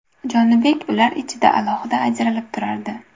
Jonibek ular ichida alohida ajralib turardi.